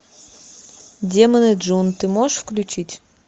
демоны джун ты можешь включить